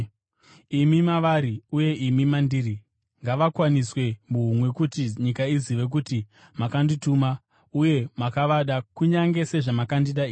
imi mavari uye imi mandiri. Ngavakwaniswe muhumwe kuti nyika izive kuti makandituma uye makavada kunyange sezvamakandida ini.